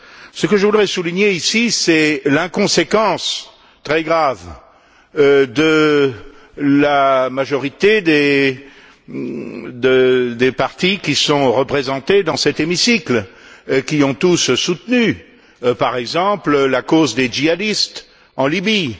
Ce que je voudrais souligner ici, c'est l'inconséquence très grave de la majorité des partis qui sont représentés dans cet hémicycle, qui ont tous soutenu, par exemple, la cause des djihadistes en Libye.